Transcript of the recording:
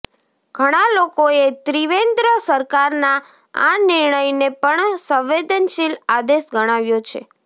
ઘણા લોકોએ ત્રિવેન્દ્ર સરકારના આ નિર્ણયને પણ સંવેદનશીલ આદેશ ગણાવ્યો છે